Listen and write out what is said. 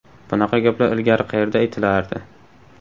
Bunaqa gaplar ilgari qayerda aytilardi?